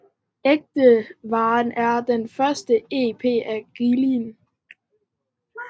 Ækte Vare er den første EP af Gilli